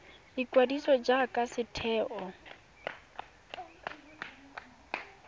ya ikwadiso jaaka setheo sa